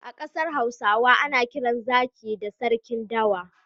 A ƙasar Hausa ana kiran zaki da sarkin dawa.